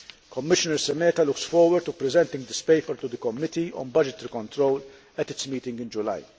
Commissioner Šemeta looks forward to presenting this paper to the Committee on Budgetary Control at its meeting in July.